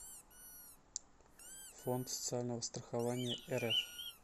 фонд социального страхования рф